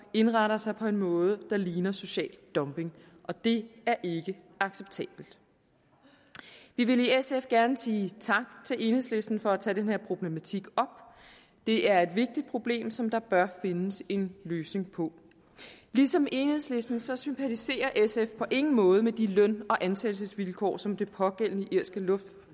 indretter sig på en måde der ligner social dumping og det er ikke acceptabelt vi vil i sf gerne sige tak til enhedslisten for at tage den her problematik op det er et vigtigt problem som der bør findes en løsning på ligesom enhedslisten så sympatiserer sf på ingen måde med de løn og ansættelsesvilkår som det pågældende irske